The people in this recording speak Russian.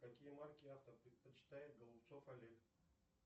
какие марки авто предпочитает голубцов олег